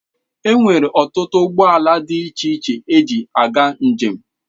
Enwere ọtụtụ ụgbọ ala dị iche iche eji aga njem.